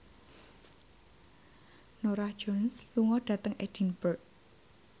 Norah Jones lunga dhateng Edinburgh